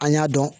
An y'a dɔn